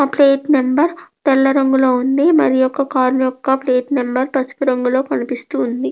ఆ plate number తెల్ల రంగులో ఉంది మరి యొక కార్ యొక్క ప్లేట్ నెంబర్ పసుపు రంగులో కనిపిస్తూ ఉంది.